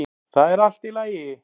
ÞAÐ ER ALLT Í LAGI!